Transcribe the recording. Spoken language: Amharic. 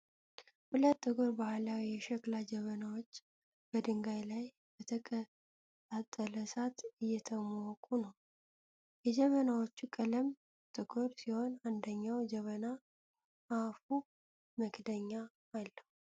ሁለት ጥቁር ባህላዊ የሸክላ ጀበናዎች በድንጋይ ላይ በተቀጣጠለ እሳት እየተሞቁ ነው። የጀበናዎቹ ቀለም ጥቁር ሲሆን አንደኛው ጀበና አፉ መክደኛ አለው።